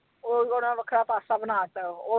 ਉਹ ਓਹਨਾ ਨੇ ਵੱਖਰਾ ਪਾਸਾ ਬਣਾ ਦਿੱਤਾ ਹੈ ਉਹ।